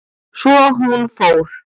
Svo hún fór.